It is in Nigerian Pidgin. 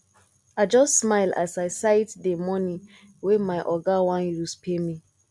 i just smile as i sight dey moni wey my oga wan use pay me